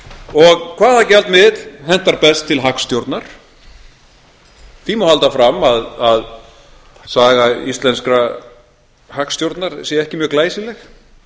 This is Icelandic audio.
og hvaða gjaldmiðill hentar best til hagstjórnar því má halda fram að saga íslenskrar hagstjórnar sé ekki mjög glæsileg